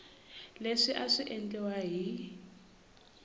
leswi a swi endliwa hi